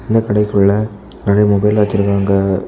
இந்த கடைக்குள்ள நெறைய மொபைல் வச்சிருக்காங்க.